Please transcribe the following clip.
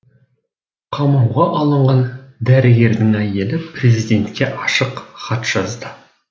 қамауға алынған дәрігердің әйелі президентке ашық хат жазды